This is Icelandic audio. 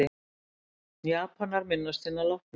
Japanar minnast hinna látnu